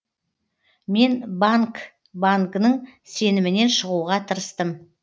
мен банг бангның сенімінен шығуға тырыстым